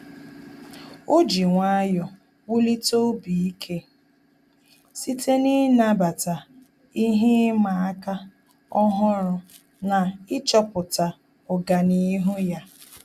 Ọ́ jì nwayọ́ọ̀ wùlíté obi ike site n’ị́nàbàtá ihe ịma aka ọ́hụ́rụ́ na ịchọ̀pụ́tá ọ́gànihu ya.